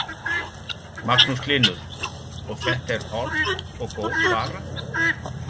Magnús Hlynur: Og þetta er holl og góð vara?